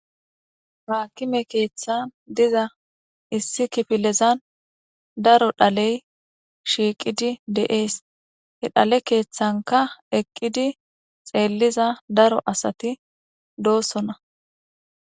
haakime keeththan diza issi kifilezan daro dhaley shiiqidi de'ees he dhale keeththanka eqqidi xeelliza daro asati doossona